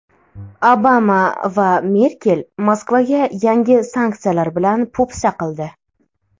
Obama va Merkel Moskvaga yangi sanksiyalar bilan po‘pisa qildi.